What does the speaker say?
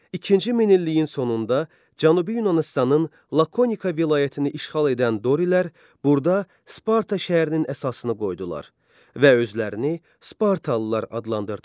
İkinci minilliyin sonunda Cənubi Yunanıstanın Lakonika vilayətini işğal edən dorilər burada Sparta şəhərinin əsasını qoydular və özlərini spartalılar adlandırdılar.